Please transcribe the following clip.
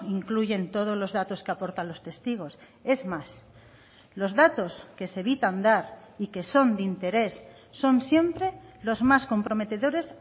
incluyen todos los datos que aportan los testigos es más los datos que se evitan dar y que son de interés son siempre los más comprometedores